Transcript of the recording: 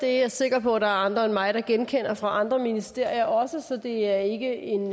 er sikker på at der er andre end mig der også genkender fra andre ministerier så det er ikke en